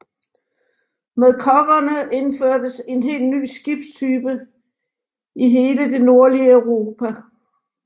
Med koggerne indførtes en helt ny skibstype i hele det nordlige Europa